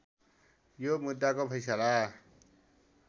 यो मुद्दाको फैसला